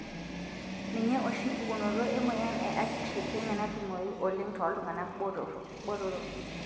ninye oshi pukunoto emoyian e acute leukemia natumoyu oleng toltungana botoro.